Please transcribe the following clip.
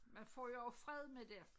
Man får jo også fred med det